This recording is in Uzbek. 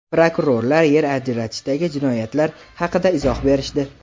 Prokurorlar yer ajratishdagi jinoyatlar haqida izoh berishdi.